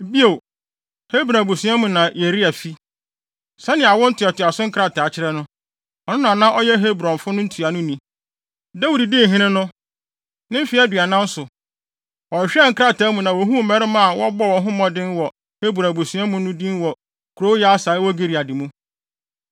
Bio, Hebron abusua mu na Yeria fi. Sɛnea awo ntoatoaso nkrataa kyerɛ no, ɔno na na ɔyɛ Hebronfo no ntuanoni. (Dawid dii hene no, ne mfe aduanan so, wɔhwehwɛɛ nkrataa mu na wohuu mmarima a wɔbɔ wɔn ho mmɔden wɔ Hebron abusua no mu din wɔ kurow Yaser a ɛwɔ Gilead mu.